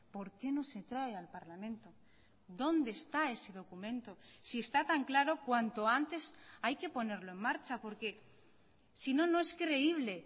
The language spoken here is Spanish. por qué no se trae al parlamento dónde está ese documento si está tan claro cuanto antes hay que ponerlo en marcha porque sino no es creíble